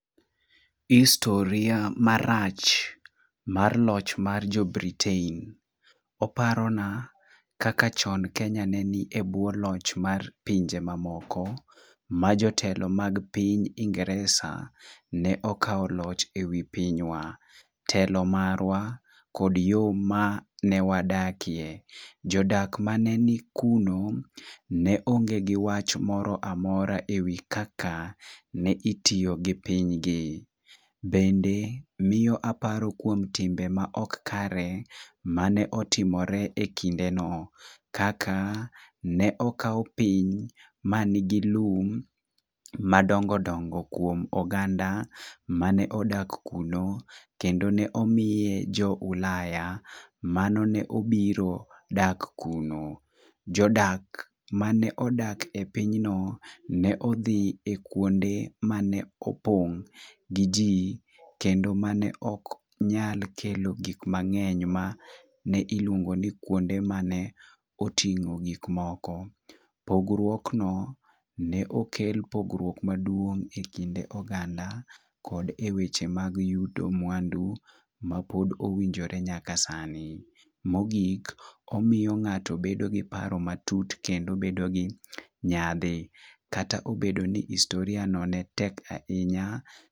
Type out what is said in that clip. historia marach mar loch mar jo britain: oparo na kaka chon kenya ne ni e bwo loch mar pinje mamoko ma jotelo mag piny ingeresa ne okawo loch e wi pinywa . Telo marwa kod yoo mane wadakie :jodak mane ni kuno ne onge giwach moro amora ewi kaka ne itiyo gi piny gi . Bende miyo aparo kuom timbe ma ok kare mane otimore e kinde no kaka ne okaw piny manigi lum madongodongo kuom oganda mane odak kuno kendo ne omiye jo ulaya mano manobiro daka kuno . Jodak mane odak e pinyno ne odhi kuonde mane opong' gi jii kendo mane ok nyal kelo gik mang'eny ma ne iluongo ni kuonde mane oting'o gik moko . Pogruok no ne oke ne kel pogruok maduong' e kind oganda kod eweche mag yudo mwandu ma pod owinjore nyaka sani. Mogik omiyo ng'ato bedo gi paro matut kendo bedo gi nyadhi kata obedo ni historia no ne tek ahinya